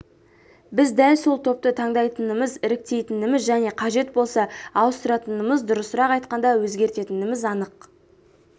біз дәл сол топты таңдайтынымыз іріктейтініміз және қажет болса ауыстыратынымыз дұрысырақ айтқанда өзгертетініміз анық